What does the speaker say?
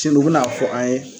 Timo bi n'a fɔ an ye